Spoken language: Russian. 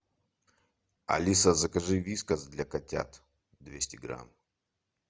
алиса закажи вискас для котят двести грамм